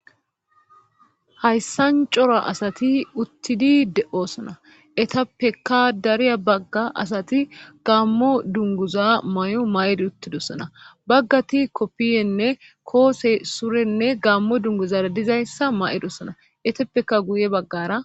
Hayssan cora asati uttidi de'osona etappeka dariya bagga asati gammo dunguza may'o may'edi uttidossana baggati koppiyenne koose surenne gammo dunguzara dizayssa ma'e dossana etappeka guye baggara